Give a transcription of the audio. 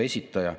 Hea Riigikogu!